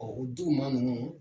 Ɔ o dudu ma ninnu